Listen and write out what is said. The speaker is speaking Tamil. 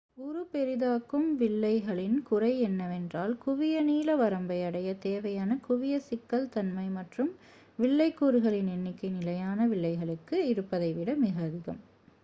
உரு பெரிதாக்கும் வில்லைகளின் குறை என்னவென்றால் குவிய நீள வரம்பை அடைய தேவையான குவிய சிக்கல் தன்மை மற்றும் வில்லை கூறுகளின் எண்ணிக்கை நிலையான வில்லைகளுக்கு இருப்பதை விட மிக அதிகம்